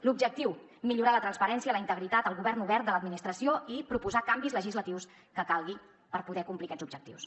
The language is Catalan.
l’objectiu millorar la transparència la integritat el govern obert de l’administració i proposar els canvis legislatius que calguin per poder complir aquests objectius